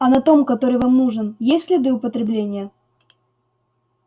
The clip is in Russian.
а на том который вам нужен есть следы употребления